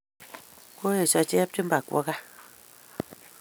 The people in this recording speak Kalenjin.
Koesyo Chepchumba kwo kaa.